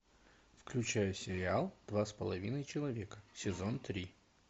включай сериал два с половиной человека сезон три